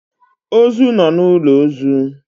Ozu nọ n'ụlọ ozu